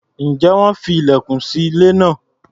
Ǹjẹ́ wọ́n fi ilẹ̀kùn sí ilé náà?